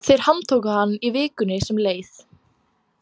Þeir handtóku hann í vikunni sem leið.